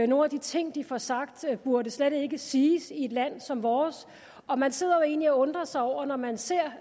nogle af de ting de får sagt burde slet ikke siges i et land som vores og man sidder jo egentlig og undrer sig over når man ser